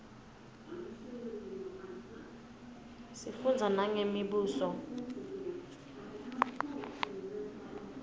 sifundza nangemibuso